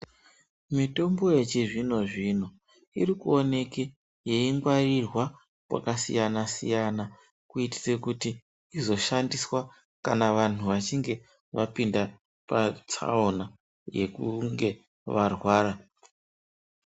Mitombo yechizvino zvino irikuoneka yeingwarirwa kwakasiyana siyana kuitira kuti izoshandiswa kana vantu vapinda patsaona yekunge varwara.